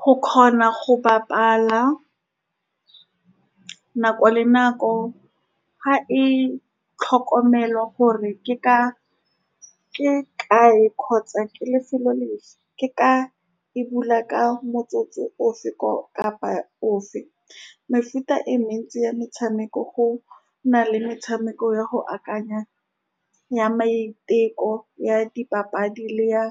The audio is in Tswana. Go kgona go bapala nako le nako, ga e tlhokomelwa gore ke ka, ke kae kgotsa ke lefelo le . Ke ka e bula ka motsotso ofe ko kapa ofe. Mefuta e mentsi ya metshameko go na le metshameko ya go akanya, ya maiteko ya dipapadi le ya